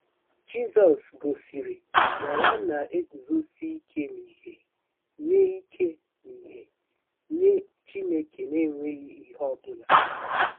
Jizọs gosiri na ya na-eguzosi ike n'ihe nye ike n'ihe nye Chineke n'enweghị ihe ọ bụla.